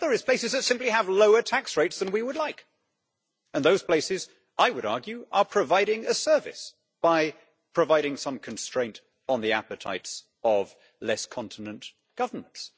The other is places that simply have lower tax rates than we would like and those places, I would argue, are providing a service by providing some constraint on the appetites of less continent governments.